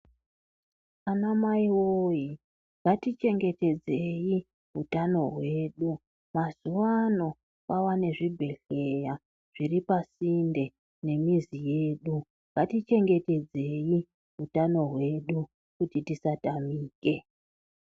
Anamai woye ngatichengetedzei utano hwedu mazuwano kwava nezvibhedhleya zviri pasinde nemizi yedu ngatichengetedzei utano hwedu kuti tisatamike.